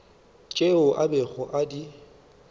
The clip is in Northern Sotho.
tšeo a bego a di